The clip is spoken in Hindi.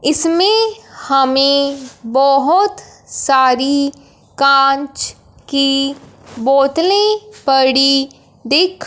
इसमें हमें बहोत सारी कांच की बोतले पड़ी दिख--